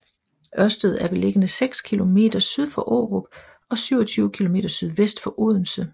Ørsted er beliggende seks kilometer syd for Aarup og 27 kilometer sydvest for Odense